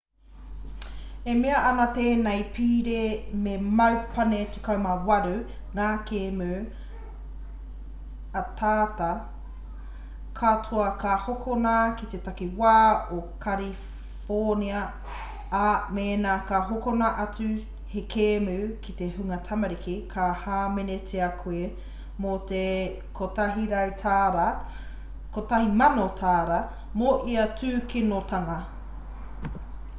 e mea ana tēnei pire me mau pane 18 ngā kēmu ataata katoa ka hokona ki te takiwā o kariwhōnia ā mēna ka hokona atu he kēmu ki te hunga tamariki ka hāmenetia koe mō te $1,000 mo ia tūkinotanga